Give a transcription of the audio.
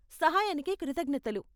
సహాయానికి కృతజ్ఞతలు.